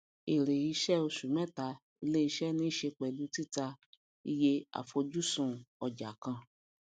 èrè iṣẹ oṣù mẹta iléiṣẹ nise pẹlú títà iye afojusun ọjà kan